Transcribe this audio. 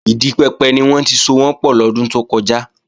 Ìdi pẹpẹ ni wọ́n ti sowọ́n pọ̀ lọ́dún tó kọjá